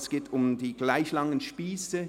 Es geht um die gleich langen Spiesse.